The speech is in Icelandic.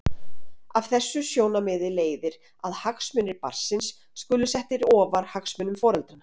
Af þessu sjónarmiði leiðir að hagsmunir barnsins skulu settir ofar hagsmunum foreldranna.